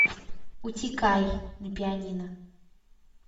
утекай на пианино